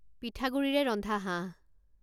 পিঠাগুড়িৰে ৰন্ধা হাঁহ